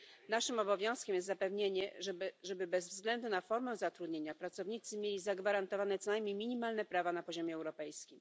Naszym obowiązkiem jest zapewnienie, żeby bez względu na formę zatrudnienia pracownicy mieli zagwarantowane co najmniej minimalne prawa na poziomie europejskim.